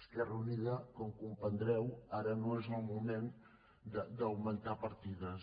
esquerra unida com comprendreu ara no és el moment d’augmentar partides